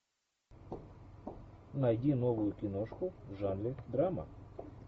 найди новую киношку в жанре драма